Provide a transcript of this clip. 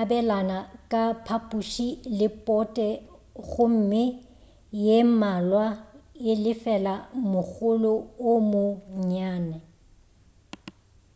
abelana ka phaphuši le pote gomme ye mmalwa e lefela mogolo o mo nnyane